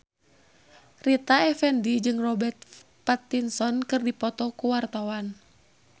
Rita Effendy jeung Robert Pattinson keur dipoto ku wartawan